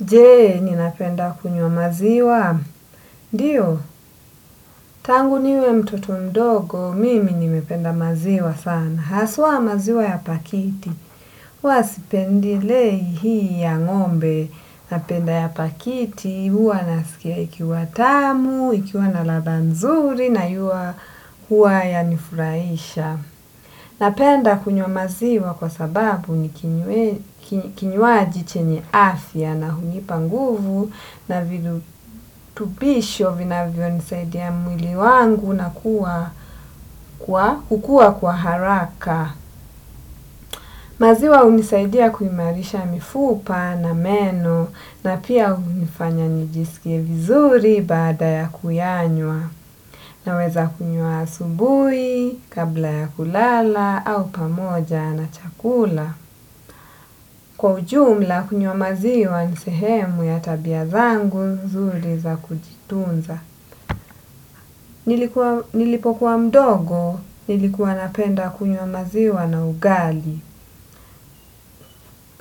Jee, ninapenda kunywa maziwa? Ndio, tangu niwe mtoto mdogo, mimi nimependa maziwa sana. Haswa maziwa ya pakiti. Huwa sipendilei hii ya ngombe. Napenda ya pakiti, huwa nasikia ikiwa tamu, ikiwa na ladha nzuri na huwa yanifurahisha. Napenda kunywa maziwa kwa sababu ni kinywaji chenye afya na hunipa nguvu na virutupisho vinavyo nisaidia mwili wangu na kukua kwa haraka. Maziwa hunisaidia kuimarisha mifupa na meno na pia hunifanya nijiskie vizuri baada ya kuyanywa naweza kunywa asubuhi kabla ya kulala au pamoja na chakula. Kwa ujumla kunywa maziwa ni sehemu ya tabia zangu nzuri za kujitunza. Nilipo kuwa mdogo nilikuwa napenda kunywa maziwa na ugali.